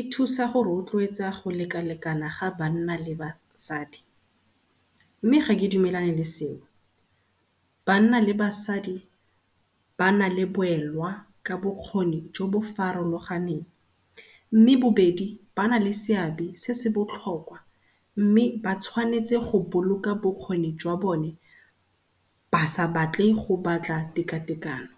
e thusa go rotloetsa go lekalekana ga banna le basadi, mme ga ke dumelane le seo. Banna le basadi ba na le boelwa ka bokgoni jo bo farologaneng mme bo bedi ba na le seabe se se botlhokwa, mme ba tshwanetse go boloka bokgoni jwa bone ba sa batle go batla tekatekano.